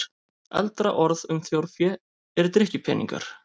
Eldra orð um þjórfé er drykkjupeningar.